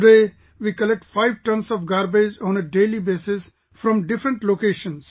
Today, we collect five tons of garbage on a daily basis from different locations